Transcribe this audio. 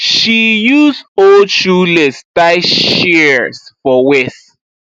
she use old shoe lace tie shears for waist